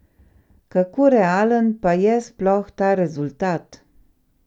Kako realen pa je sploh ta rezultat?